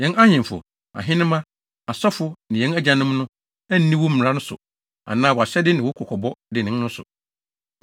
Yɛn ahemfo, ahenemma, asɔfo, ne yɛn agyanom no anni wo mmara so anaa wʼahyɛde ne wo kɔkɔbɔ dennen no so.